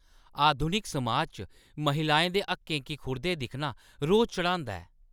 आधुनिक समाज च महिलाएं दे हक्कें गी खुरदे दिक्खना रौह् चढ़ांदा ऐ।